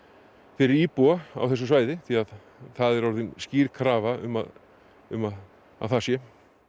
fyrir íbúa á þessu svæði því að það er komin skýr krafa um að um að það sé